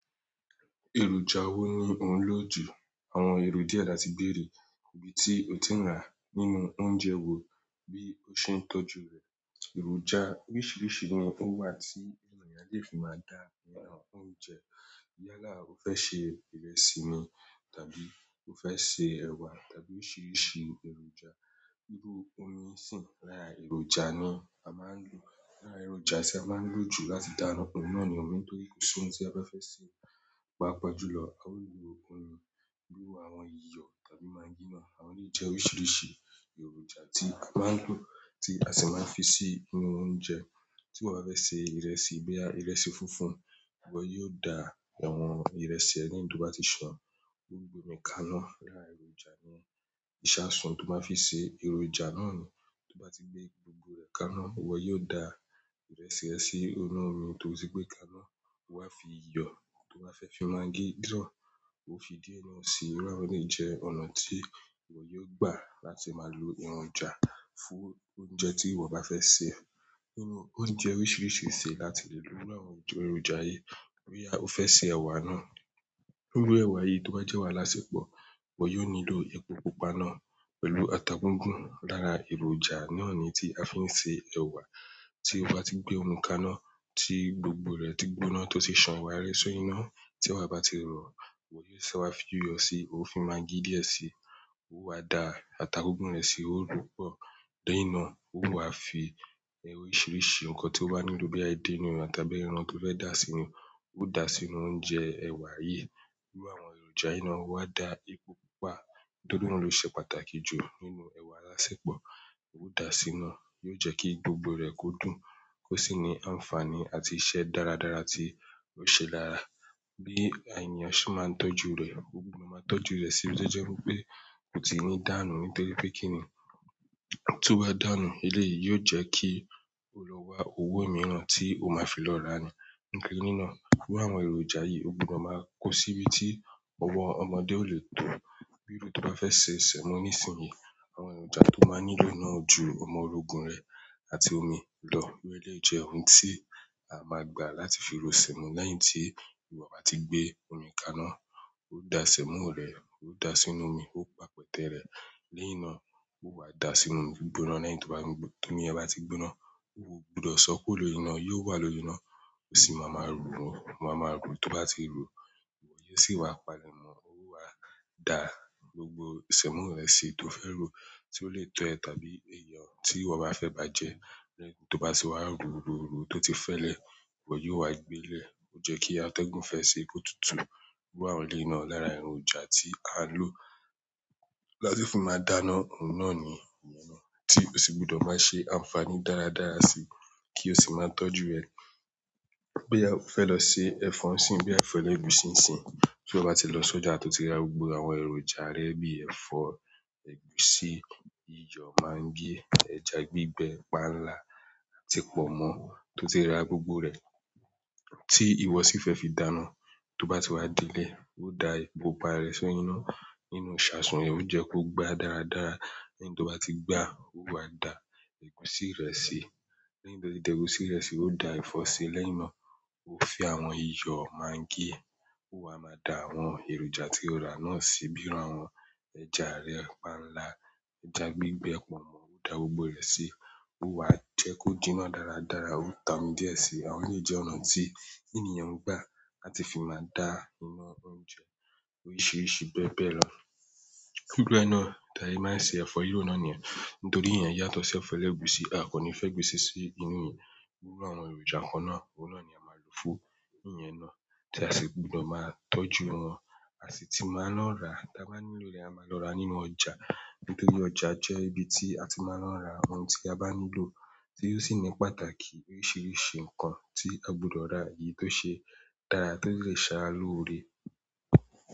Èròjà wo ni ò ń lò jù? Àwọn ero diẹ láti beere ibi tí o ti rà nínú oúnjẹ wo bí ó ṣe ń tọ́jú rẹ̀. Èròjà oríṣiríṣi ni ó wà tí ènìyàn lè fi máa dà iná oúnjẹ. Yálà o fẹ́ ṣe ìrẹsì ni, tàbí ó fẹ́ se ẹ̀wà, tàbí oríṣiríṣi èròjà, bíi omi ń sìn, lára èròjà ni a máa ń lò. Lára èròjà tí a máa ń lò jù láti dà iná, òun náà ni omi. Nítorí kó so oúnjẹ tí a fẹ́ se, paápàá jùlọ, a ó lo omi. Bíi àwọn iyọ̀ tàbí magí náà, àwọn yìí jẹ́ oríṣiríṣi èròjà tí a máa ń lò tí a sì máa ń fi sí inú oúnjẹ. Tí ìwọ bá fẹ́ se ìrẹsì, boya ìrẹsì funfun, ìwọ yóò da àwọn ìrẹsì ẹ lẹ́yìn to bá ti ṣán, o gbe mi kaná. Lára èròjà ni ìṣasùn tó máa fi ṣe, èròjà náà ni tí ó bá ti gbé gbogbo rẹ̀ kaná, ìwọ yóò da ìrẹsì ẹ sí inú omi, tó tì gbé e kaná. O wa fi iyọ̀, tí o bá fẹ́ fi magí diẹ, o fi díẹ̀ náà sì. Iru àwọn eléyìí jẹ́ ọ̀nà tí ìwọ yóò gbà láti máa lo èròjà fún oúnjẹ tí ìwọ bá fẹ́ ṣe. Nínú oúnjẹ oríṣiríṣi ṣe láti lè lo àwọn èròjà yìí. Boya o fẹ́ se ẹ̀wà náà, bíi iru ẹ̀wà yìí tó bá jẹ́ ẹwà alásepọ̀, ìwọ yóò nílò epo pupa náà pẹ̀lú ata gígùn. Lára èròjà náà ni tí a fi ń ṣe ẹ̀wà. Tí o bá ti gbé òmi kaná, tí gbogbo rẹ̀ ti gbóná, tó sì ṣán ẹwá rẹ́ ṣori iná, tí ẹwa bá ti rọ̀, ìwọ yóò sẹ wá fi iyọ̀ sí i, o fi magí díẹ̀ sí i, o wa da ata gígùn rẹ sí i, o ro pọ̀ lẹ́yìn náà, o wa fi oríṣiríṣi nǹkan tí ó wà nínú bíi ẹdínúùran tàbí ẹran tí ó fẹ́ dà sínú, o dà á sínú oúnjẹ, ẹ̀wà yìí. Iru àwọn èròjà yìí náà, o wa dà epo pupa, nítorí òun ló ṣe pàtàkì jù nínú ẹ̀wà alásẹ́pọ̀. O dà á sínú, yóò jẹ́ kí gbogbo rẹ̀ ó dùn, ó sì ní ànfààní àti iṣẹ́ dáradára tí ó ṣe lára. Bi èèyàn se maa n tọ́jú rẹ, o gbudọ maa tọ́jú rẹ si ibi jẹ́ wipè, kò tí ì ní dànù nítorí pé kí nì í tó bá dànù eléyìí yóò jẹ́ kí ó lọ wá owó mìíràn tí o máa fi lọ rà á ni. Nítorí náà, iru àwọn èròjà yìí, o gbudọ máa kó síbi tí ọwọ ọmọdé ó lè to. Iru to ba fẹ se semo nisin yi, àwọn èròjà to maa nílò náà o ju omorogun rẹ àti omi lọ, iru eleyi jẹ ohun ti a maa gba láti ri ro semo lẹ́yìn ti iwọ ba ti gbe omi ka ina o dà sẹ̀mọ́ rẹ, o dà á sínú omi, o pa pẹ̀tẹ́ rẹ lẹ́yìn náà, o wa dà á sínú gbígbóná. Lẹ́yìn tó bá ti gbóná, tí ẹ bá ti gbóná, ó gbudọ̀ sọ kúrò lórí iná, yóò wà lórí iná, o sì máa ma ro o. O máa ma ro tó bá ti ro, ìwọ yóò sì wá palèmọ̀, o wa dà gbogbo sẹ̀mọ́ rẹ sí i tó fẹ́ ro, tí ó lè to ẹ tàbí èèyàn tí ìwọ bá fẹ́ bá jẹ́. Lẹ́yìn tí ó bá ti wá ro, ro, ro, tó ti fẹ́lẹ̀, ìwọ yóò wá gbe e lẹ. Ó jẹ́ kí atẹ́gùn fẹ́ ṣi ko tútù. Iru àwọn eléyi náà lára èròjà tí a n lò láti fi máa dà iná, òun náà ni iyẹn náà tí ó sì gbudọ̀ máa ṣe ànfààní dáradára sí i kí o sì máa tọ́jú ẹ. Boya o fẹ́ lọ se ẹ̀fọ́ ńsín, bí ẹ̀fọ́ ẹlẹgusi ńsín, tí iwọ bá ti lọ sọ́jà tó ti ra gbogbo àwọn èròjà rẹ bíi ẹ̀fọ́, ègúsí, iyọ̀, magí, ẹja gbígbẹ, panla àti pọ̀nmọ́ tó ti ra gbogbo rẹ̀ tí ìwọ sì fẹ́ fi dànù. Tó bá ti wá délé, o dà epo pa rẹ̀ sórí ina nínú ìṣasùn, yen o jẹ kó gbá dáradára. Lẹ́yìn tó bá ti gbá, o wá dà ègúsí rẹ sí i. Lẹ́yìn tó ti dà ègúsí rẹ sí i, o dà ẹ̀fọ́ sí i. Lẹ́yìn náà, o fi àwọn iyọ̀, magí, o wa máa dà àwọn èròjà tí o rà náà sí i bíi àwọn ẹja rẹ panla, ẹja gbígbẹ, pọ̀nmọ́, o dà gbogbo rẹ̀ sí i. O wá jẹ́ kó díná dáradára, o ta omi íẹ̀ sí i. Àwọn eleyìí jẹ́ ọ̀nà tí ènìyàn ń gbà láti fi máa dà iná oúnjẹ oríṣiríṣi bẹ́ẹ̀ bẹ́ẹ̀ lọ. Bí bẹ́ẹ̀ náà, ta se máa ń ṣe ẹ̀fọ́ riro náà niyẹn, nítorí iyẹn yàtọ̀ si ẹ̀fọ́ ègúsí. A kò ní fẹ́ gbé si sí inú ìyẹn. Iru àwọn èròjà kan náà, òun náà ni a máa lò fún ìyẹn náà tí a sì gbudọ̀ máa tọ́jú wọn. A sì ti máa ń lọ rà. Tí a bá nílò rẹ̀, a máa lọ rà nínú ọjà. Nítorí ọjà jẹ́ ibi tí a ti máa ń lọ ra ohun tí a bá nílò tí ó sì ní pàtàkì oríṣiríṣi nǹkan tí a gbudọ̀ ra yìí tó ṣe dára tí ó lè ṣe sara loore.